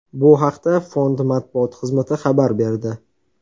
Bu haqda Fond matbuot xizmati xabar berdi .